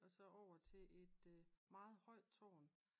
Og så over til et meget højt tårn